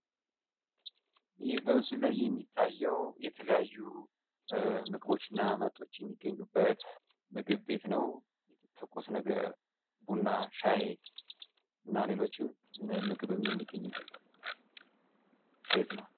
ይህ በምስሉ ላይ የሚታየው የተለያዩ ምግቦች እና መጠጦች የሚገኝበት ምግብ ቤት ነው ትኩስ ነገር ቡና ሻይ እና ሌሎችም ምግብ የሚገኝበት ቤት ነው።